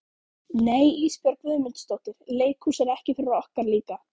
Nei Ísbjörg Guðmundsdóttir, leikhús er ekki fyrir okkar líka.